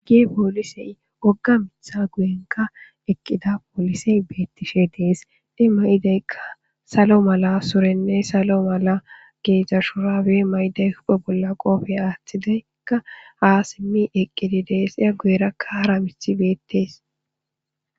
Poolisey ogga mitha guyenka eqqida poolisey beettishe dees de may'ideykka salo mala surenne salo mala geezdza shurawe mayiday huphe bolla qoofey aaththidaykka ha simmi eqqidi dees iya gueerakka hara mithi beettees.